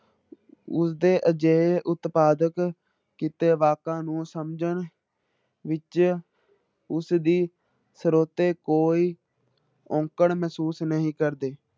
ਉਸਦੇ ਅਜਿਹੇ ਉਤਪਾਦਕ ਕੀਤੇ ਵਾਕਾਂ ਨੂੰ ਸਮਝਣ ਵਿੱਚ ਉਸਦੀ ਸ੍ਰੋਤੇ ਕੋਈ ਔਕੜ ਮਹਿਸੂਸ ਨਹੀਂ ਕਰਦੇ।